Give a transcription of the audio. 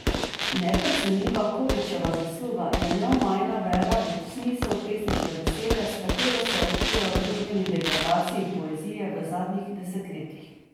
Neprecenljiva Kovičeva zasluga je neomajna vera v smisel pesniške besede, s katero se je upiral družbeni degradaciji poezije v zadnjih desetletjih.